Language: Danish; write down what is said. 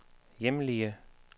hjemlige